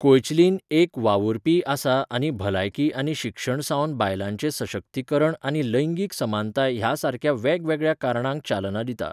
Koechlin एक वावुरपीय आसा आनी भलायकी आनी शिक्षण सावन बायलांचें सशक्तीकरण आनी लैंगीक समानताय ह्या सारक्या वेगवेगळ्या कारणांक चालना दिता.